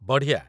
ବଢ଼ିଆ ।